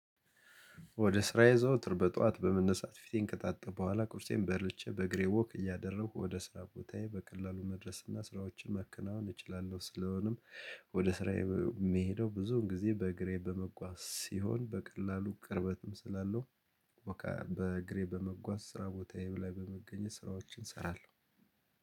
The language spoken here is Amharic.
ወደ ስራዬ ዘወትር በጠዋት በመነሳት ፊቴን ከታጠብኩ በኋላ ቁርሴን በልቼ በእግሬ ወክ እያደረኩ ወደ ስራ ቦታዬ በቀላሉ መድረስ እና ስራዎችን መከናወን እችላለሁ ስለሆነም። ወደ ስራዬ የምሄደው ብዙን ጊዜ በእግሬ በመጓዝ ሲሆን በቀላሉ ቅርበትም ስላለው። በቃ በእግሬ በመጓዝ ስራ ቦታዬ ላይ በመገኘት ስራዎችን እሰራለሁ።